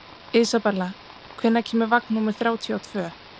Isabella, hvenær kemur vagn númer þrjátíu og tvö?